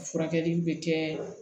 Furakɛli bɛ kɛ